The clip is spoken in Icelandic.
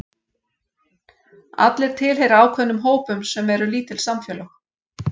Allir tilheyra ákveðnum hópum sem eru lítil samfélög.